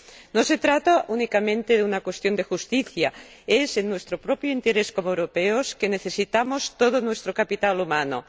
No se trata únicamente de una cuestión de justicia en nuestro propio interés como europeos necesitamos todo nuestro capital humano.